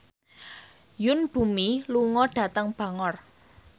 Yoon Bomi lunga dhateng Bangor